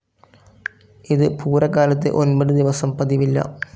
ഇത് പൂരകാലത്ത് ഒൻപത് ദിവസം പതിവില്ല.